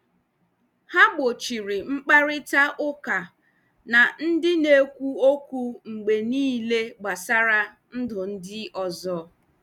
Ha gbochiri mkparịta ụka na ndị na-ekwu okwu mgbe niile gbasara ndụ ndị ọzọ.